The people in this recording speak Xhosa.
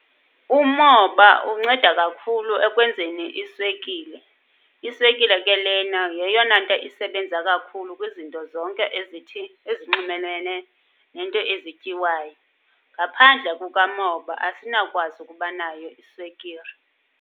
Umoba unceda kakhulu ekwenzeni iswekile. Iswekile ke lena yeyona nto isebenza kakhulu kwizinto zonke ezithi ezinxumenene neento ezityiwayo. Ngaphandle kuka moba asinawukwazi ukubanayo iswekire.